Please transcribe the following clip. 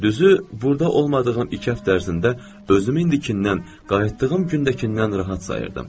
Düzü, burda olmadığım iki həftə ərzində özümü indikinndən qayıtdığım gündəkindən rahat sayırdım.